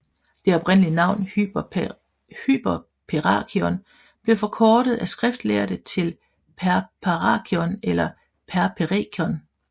Det oprindelige navn Hyperperakion blev forkortet af skriftlærde til Perperakion eller Perperikon